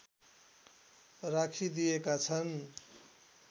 राखिदिएका छन्